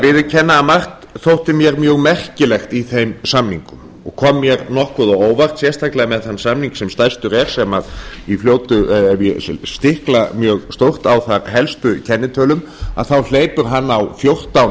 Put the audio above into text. að margt þótti mér mjög merkilegt í þeim samningum og kom mér nokkuð á óvart sérstaklega með þann samning sem stærstur er sem ef ég stikla mjög stórt á þær helstu í kennitölum þá hleypur hann á fjórtán